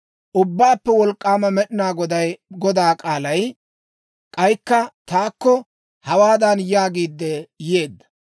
Ubbaappe Wolk'k'aama Med'inaa Godaa k'aalay k'aykka taakko, hawaadan yaagiid yeedda;